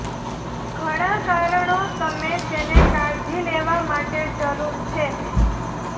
ઘણા કારણો તમે તેને કાળજી લેવા માટે જરૂર છે